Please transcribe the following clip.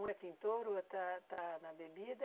Um é pintor, o outro está está na bebida.